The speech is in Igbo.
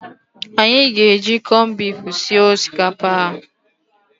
Anyị aga-eji kọnbifu sie osikapa a?